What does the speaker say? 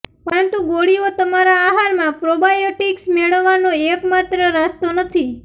પરંતુ ગોળીઓ તમારા આહારમાં પ્રોબાયોટીક્સ મેળવવાનો એકમાત્ર રસ્તો નથી